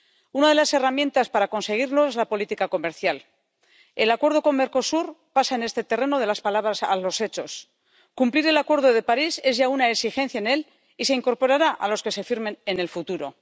Una de las herramientas para conseguirlo es la política comercial. El Acuerdo con Mercosur pasa, en este terreno, de las palabras a los hechos. Cumplir el Acuerdo de París es ya una exigencia en él, y se incorporará a los que se firmen en el futuro.